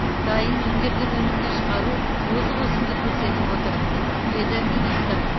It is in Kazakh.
дайын өңделген өнімді шығару озық өсімді көрсетіп отыр деді министр